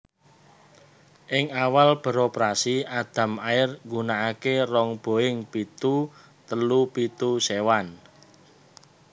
Ing awal beroperasi Adam Air gunakaké rong Boeing pitu telu pitu séwan